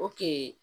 O kun ye